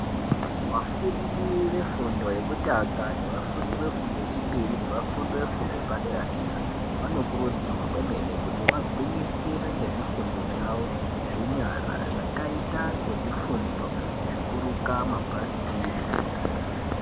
Vafundi vefubdo yekutanga nevafundi vefundo yepa dera vanokurudzirwa kwemene kuti vagwinyisire nezvifundo zvavo zvenyara sakaita sezvifundo zvekuruka mabahsikiti.